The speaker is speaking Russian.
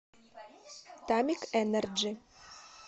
тамик энерджи